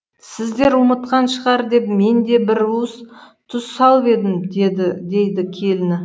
сіздер ұмытқан шығар деп мен де бір уыс тұз салып едім дейді келіні